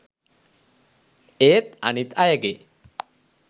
ඒත් අනිත් අයගේ